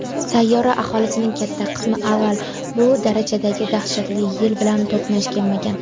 sayyora aholisining katta qismi avval bu darajadagi "dahshatli yil" bilan to‘qnash kelmagan.